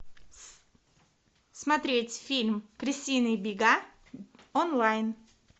смотреть фильм крысиные бега онлайн